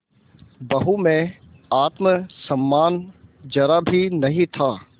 बहू में आत्म सम्मान जरा भी नहीं था